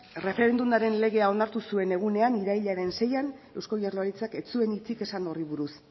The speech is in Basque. erreferendumaren legea onartu zuen egunena irailaren seian eusko jaurlaritzak ez zuen hitzik esango horri buruz